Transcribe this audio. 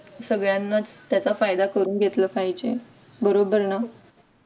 सगळ्यांनाच त्याचा फायदा करून घेतला पाहिजे बरोबर ना